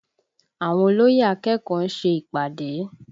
Àwọn olóyè akẹ́kọ̀ọ́ ń ṣe ìpàdé